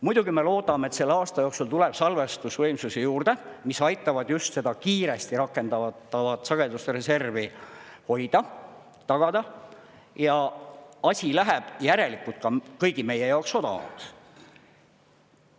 Muidugi me loodame, et selle aasta jooksul tuleb salvestusvõimsusi juurde, mis aitavad just seda kiiresti rakendatavat sageduste reservi hoida, tagada ja asi läheb järelikult ka kõigi meie jaoks odavamaks.